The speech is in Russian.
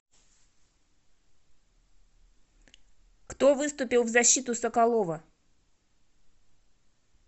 кто выступил в защиту соколова